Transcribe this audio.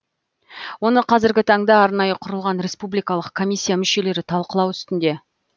оны қазіргі таңда арнайы құрылған республикалық коммисия мүшелері талқылау үстінде